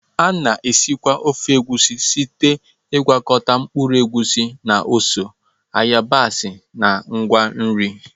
A na-esikwa ofe Egusi site n'ịgwakọta mkpụrụ egusi na ose, yabasị na ngwa nri.